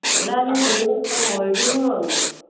ഇവിടാണെ വിയർത്ത് ഒഴുകും അങ്ങ്.